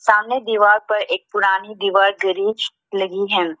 सामने दीवार पर एक पुरानी दीवार घड़ी लगी है।